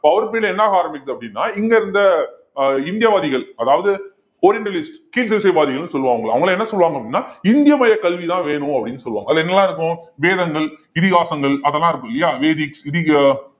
அவர் period ல என்னாக ஆரம்பிக்குது அப்படின்னா இங்க இருந்த அஹ் இந்தியவாதிகள் அதாவது கீழ் திசைவாதிகள்ன்னு சொல்லுவாங்கல்ல அவங்கெல்லாம் என்ன சொல்லுவாங்க அப்படின்னா இந்திய மைய கல்விதான் வேணும் அப்படின்னு சொல்லுவாங்க அதுல என்னெல்லாம் இருக்கும் வேதங்கள், இதிகாசங்கள் அதெல்லாம் இருக்கும் இல்லையா வேதிக் இதிகா~